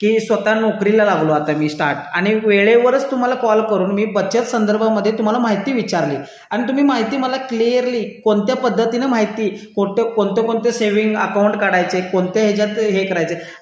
की स्वतः नोकरीला लागलो आता आणि स्टार्ट वेळेवरच तुम्हाला बचत संदर्भात तुम्हाला माहिती विचारली आणि तुम्ही मला माहिती क्लिअरली कोणत्या कोणत्या सेविंग अकाउंट काढायचे कोणते कोणते हे करायचे